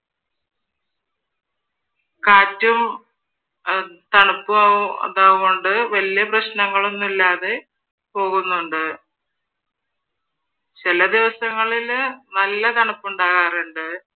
കാറ്റും തണുപ്പും അതുകൊണ്ട് വെല്ല്യ പ്രശനങ്ങളൊന്നും ഇല്ലാതെ പോകുന്നുണ്ട് ചില ദിവസങ്ങളില് നല്ല തണുപ്പുണ്ടാകാറുണ്ട്.